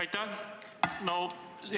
Aitäh!